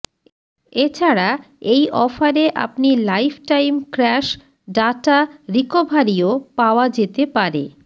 এছাড়া এই অফারে আপনি লাইফটাইম ক্র্যাশ ডাটা রিকভারিও পাওয়া যেতে পারে